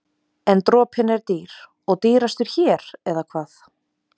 En dropinn er dýr og dýrastur hér, eða hvað?